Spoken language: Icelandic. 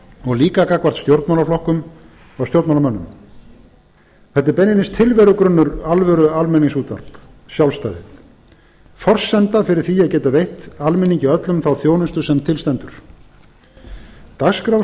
og líka gagnvart stjórnmálaflokkum og stjórnmálamönnum þetta er beinlínis tilverugrunnur alvöru almenningsútvarps sjálfstæði forsenda fyrir því að geta veitt almenningi öllum þá þjónustu sem til stendur dagskrárstefna